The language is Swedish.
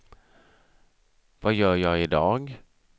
vad gör jag idag